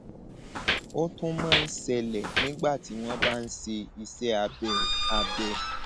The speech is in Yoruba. ó tún máa ń ṣẹlẹ nígbà tí wọn bá ń ṣe iṣẹ abẹ abẹ